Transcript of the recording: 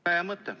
Väga hea mõte.